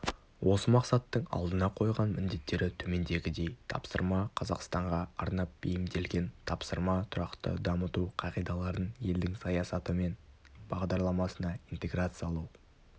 осы мақсаттың алдына қойған міндеттері төмендегідей тапсырма қазақстанға арнап бейімделген тапсырма тұрақты дамыту қағидаларын елдің саясаты мен бағдарламасына интеграциялау